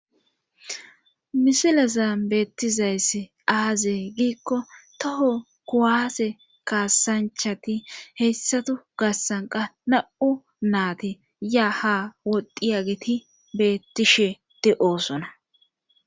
Misilazan beettizayss aaze giikko toho kuwaase kaasanchati heyssatu gassanqa na'u naati ya ha woddi ageti beettisheti oosona.